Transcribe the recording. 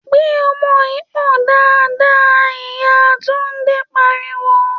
‘Gbé o̩mo̩ yìí pò̩n dáadáa!’, ìyá Túndé pariwo